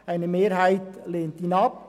Eine Mehrheit lehnt sie ab.